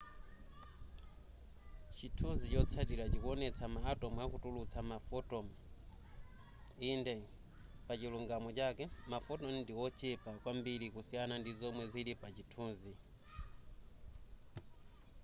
chithunzi chotsatila chikuonetsa ma atom akutulutsa ma photon inde pachilungamo chake ma photon ndiochepa kwambiri kusiyana ndi zomwe zili pa chithunzi